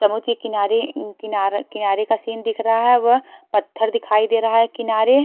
समुद्र के किनारे किनारा किनारे का सीन दिख रहा है व पत्थर दिखाई दे रहा है किनारे--